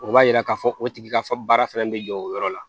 O b'a yira k'a fɔ o tigi ka fɔ baara fana bɛ jɔ o yɔrɔ la